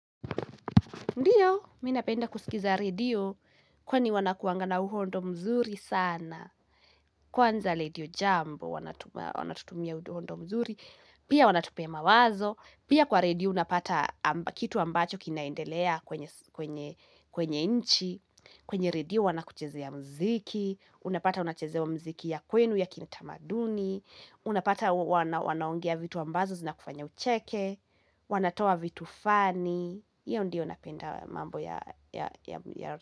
Ndiyo, mmi napenda kusikiza redio kwani wanakuangana uhondo mzuri sana. Kwanza redio jambo, wanatutumia uhondo mzuri. Pia wanatupea mawazo. Pia kwa redio unapata kitu ambacho kinaendelea kwenye nchi. Kwenye redio wanakuchezea muziki. Unapata unachezewa muziki ya kwenu ya kitamaduni. Unapata wanaongea vitu ambazo zinakufanya ucheke. Wanatoa vitu fani. Iyo ndio napenda mambo ya ya.